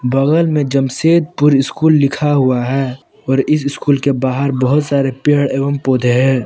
बगल में जमशेदपुर स्कूल लिखा हुआ है और स्कूल के बाहर बहुत सारे पेड़ एवं पौधे हैं।